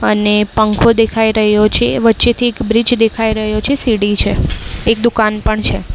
અને પંખો દેખાય રહ્યો છે વચ્ચેથી એક બ્રિજ દેખાય રહ્યો છે સીડી છે એક દુકાન પણ છે.